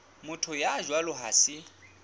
motho ya jwalo ha se